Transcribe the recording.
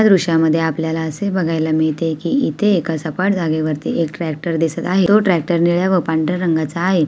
ह्या दृष्यामध्ये आपल्याला असे बघायला मिळते कि इथे एका सपाट जागेवरती एक ट्रॅक्टर दिसत आहे तो ट्रॅक्टर निळ्या व पांढऱ्या रंगाचा आहे.